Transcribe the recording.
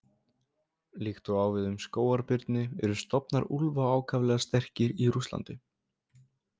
Líkt og á við um skógarbirni eru stofnar úlfa ákaflega sterkir í Rússlandi.